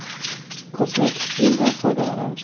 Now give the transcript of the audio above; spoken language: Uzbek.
Kosmetik gildan foydalanamiz.